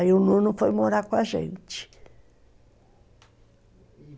Aí o nono foi morar com a gente.